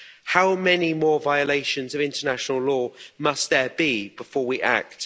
How many more violations of international law must there be before we act?